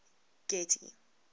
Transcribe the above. getty